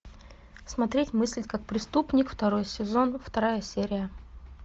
смотреть мыслить как преступник второй сезон вторая серия